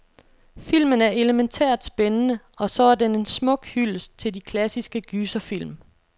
Filmen er elemæntært spændende, og så er den en smuk hyldest til de klassiske gyserfilm.